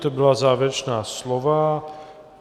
To byla závěrečná slova.